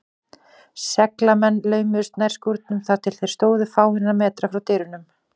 Seglamennirnir laumuðust nær skúrnum, þar til þeir stóðu fáeina metra frá dyrunum.